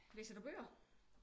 Læser du bøger?